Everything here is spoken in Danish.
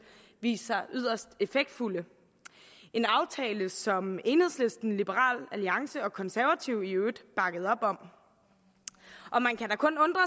vist sig yderst effektfulde en aftale som enhedslisten liberal alliance og konservative i øvrigt bakkede op om og man kan da kun undre